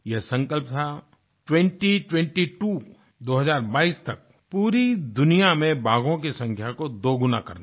यह संकल्प था ट्वेंटी ट्वेंटी त्वो 2022 तक पूरी दुनिया में बाघों की संख्या को दोगुना करना